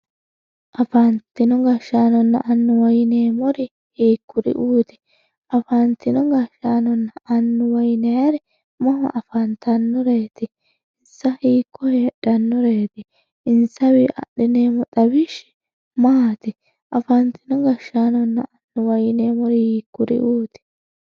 afantino gashaanonna annuwa yineemori hiikuri"uuti afantino gashaanonna annuwa yinayiiri mama afanttannoreeti inssa hiikko heexxannoreeti inssawii axxineemo xawishshi maati afantino gashaanonna annuwa yineemori yiikuri"uuti